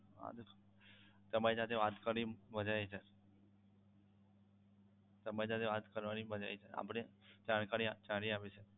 આ જ sir તમારી સાથે વાત કરી મજા આવી સર તમારી સાથે વાત કરવાની મજા આવી sir આપણે જાણકારી સારી આપી sir